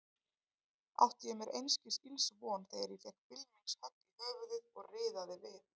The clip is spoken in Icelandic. Átti ég mér einskis ills von þegar ég fékk bylmingshögg í höfuðið og riðaði við.